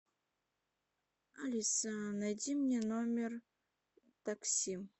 алиса найди мне номер такси